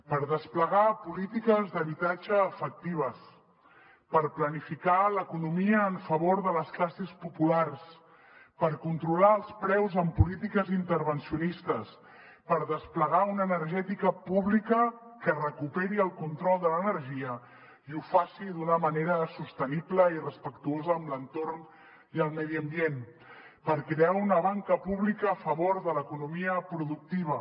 per desplegar polítiques d’habitatge efectives per planificar l’economia en favor de les classes populars per controlar els preus en polítiques intervencionistes per desplegar una energètica pública que recuperi el control de l’energia i ho faci d’una manera sostenible i respectuosa amb l’entorn i el medi ambient per crear una banca pública a favor de l’economia productiva